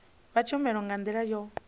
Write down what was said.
vha tshumelo nga ndila yo